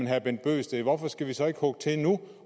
herre bent bøgsted hvorfor skal vi så ikke hugge til nu